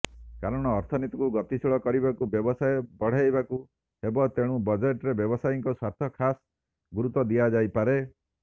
କାରଣ ଅର୍ଥନୀତିକୁ ଗତିଶୀଳ କରିବାକୁ ବ୍ୟବସାୟ ବଢ଼ାଇବାକୁ ହେବ ତେଣୁ ବଜେଟରେ ବ୍ୟବସାୟୀଙ୍କ ସ୍ୱାର୍ଥକୁ ଖାସ୍ ଗୁରୁତ୍ୱ ଦିଆଯାଇପାରେ